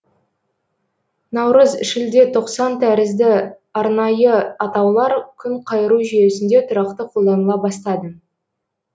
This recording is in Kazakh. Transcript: наурыз шілде тоқсан тәрізді арнайы атаулар күнқайыру жүйесінде тұрақты қолданыла бастады